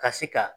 Ka se ka